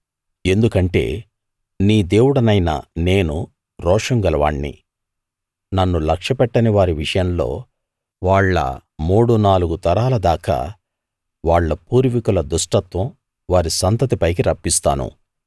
ఎందుకంటే నీ దేవుడనైన నేను రోషం గలవాణ్ణి నన్ను లక్ష్యపెట్టని వారి విషయంలో వాళ్ళ మూడు నాలుగు తరాల దాకా వాళ్ళ పూర్వికుల దుష్టత్వం వారి సంతతి పైకి రప్పిస్తాను